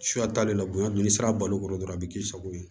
Suya t'ale la bonya dun ni sira balo kɔrɔ dɔrɔn a bɛ k'i sago ye